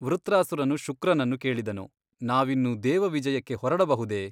ವೃತ್ರಾಸುರನು ಶುಕ್ರನನ್ನು ಕೇಳಿದನು ನಾವಿನ್ನು ದೇವವಿಜಯಕ್ಕೆ ಹೊರಡಬಹುದೇ ?